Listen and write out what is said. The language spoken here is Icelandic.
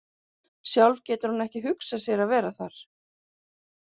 Sjálf getur hún ekki hugsað sér að vera þar.